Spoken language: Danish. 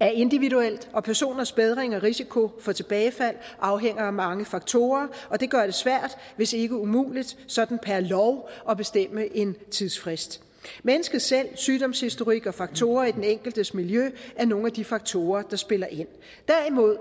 er individuelt og personers bedring og risiko for tilbagefald afhænger af mange faktorer og det gør det svært hvis ikke umuligt sådan per lov at bestemme en tidsfrist mennesket selv sygdomshistorikken og faktorer i den enkeltes miljø er nogle af de faktorer der spiller ind derimod